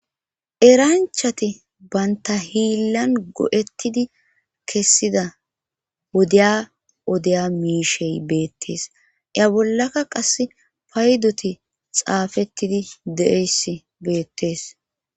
Eranchati baynta hiillan go'ettidi kessida wodeya odeya miishey beettees iya bollaka qass paydoti xaafettidi deeyss beettees